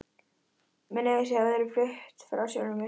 Mér leið eins og ég hefði flutt frá sjálfri mér.